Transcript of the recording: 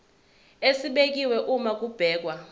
esibekiwe uma kubhekwa